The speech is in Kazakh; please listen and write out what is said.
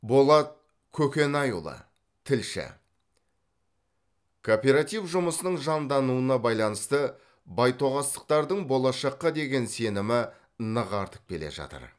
болат көкенайұлы тілші кооператив жұмысының жандануына байланысты байтоғастықтардың болашаққа деген сенімі нық артып келе жатыр